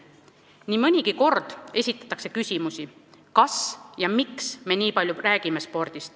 Nii mõnigi kord esitatakse küsimusi, kas ja miks me nii palju spordist räägime.